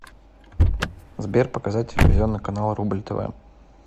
сбер показать телевизионный канал рубль тв